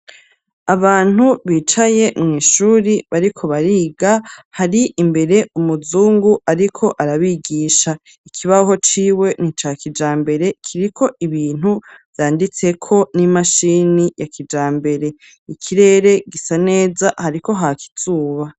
Abantu bicaye mw'ishuri, bariko bariga, hari imbere umuzungu ariko arabigisha; ikibaho ciwe ni ica kijambere, kiriko ibintu vyanditseko n'imashini ya kijambere l;ikirere gisa neza, hariko haka izuba.